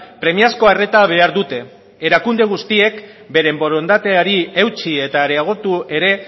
premiazko arreta behar dute erakunde guztiek beren borondateari eutsi eta areagotu ere